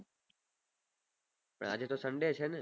પન આજે તો sunday છે ને